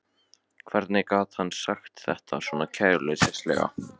Hvernig gat hann sagt þetta svona kæruleysislega?